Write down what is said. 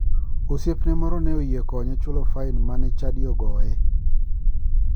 Osiepne moro ne oyie konye chulo fain mane chadi ogoye.